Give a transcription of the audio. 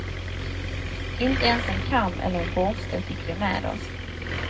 Inte ens en kam eller en borste fick vi med oss.